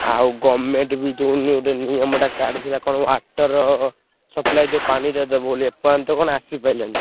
ଆଉ government ବି ଯୋଉ ନିୟମ ଟା କାଢିଥିଲା କଣ water supply ଯୋଉ ପାଣିରେ ଦବ ବୋଲି ଏପର୍ଯ୍ୟନ୍ତ କଣ ଆସିପାଇଲାଣି।